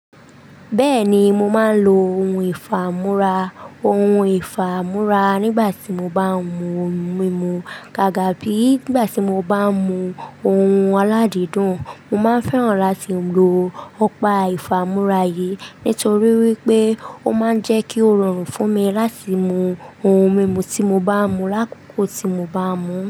Bẹ́ẹ̀ni, mo máa ń lo ohun ìfámúrá, ohun ìfámúrá nígbà tí mo bá ń mu ohun mímu. Kàkà bí nígbà tí mo bá ń mu ohun aládìídùn, mo máa ń fẹ́ràn láti lo ọpà ìfámúrá yìí. Nítorí wípé ó máa ń jẹ́ kí ó rọrùn fún mi láti mú ohun mímu tí mo bá mú lákòókò tí mo bá mú.